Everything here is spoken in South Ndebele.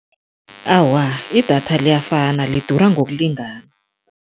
Awa, idatha liyafana, lidura ngokulingana.